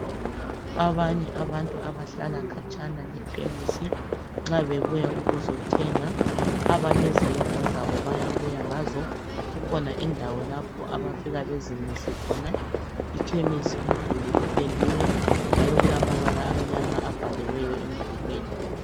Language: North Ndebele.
Abanye abantu abahlala khatshana lekhemesi, nxa bebuya ukuzothenga, abalezimota zabo, bayabuya ngazo. Kukhona indawo lapha abafika bazimise khona. Ikhemisi umduli upendiwe, njalo kulamabala amnyama abhaliweyo emdulwini,